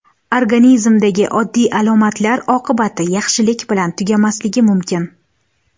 Organizmdagi oddiy alomatlar oqibati yaxshilik bilan tugamasligi mumkin.